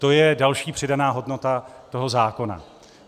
To je další přidaná hodnota toho zákona.